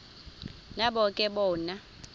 nabo ke bona